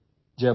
काळजी घ्या